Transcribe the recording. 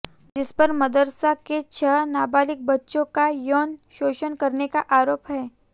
जिसपर मदरसा के छह नाबालिग बच्चों का यौन शोषण करने का आरोप है